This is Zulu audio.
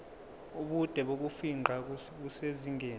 ubude bokufingqa busezingeni